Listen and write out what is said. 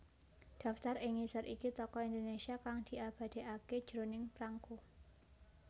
Daftar ing ngisor iki Tokoh Indonesia kang diabadèkaké jroning prangko